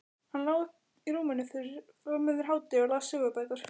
Hann lá í rúminu fram yfir hádegi og las sögubækur.